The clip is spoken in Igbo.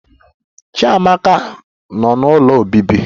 Chiamaka Nọ n'Ụlọ Obibi